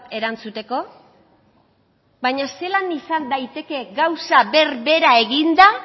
erantzuteko baina zelan izan daiteke gauza berbera eginda